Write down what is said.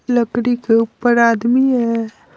लकड़ी के ऊपर आदमी है।